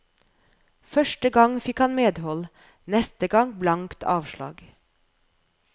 Første gang fikk han medhold, neste gang blankt avslag.